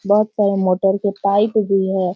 बहुत सारे मोटर के पाइप भी है।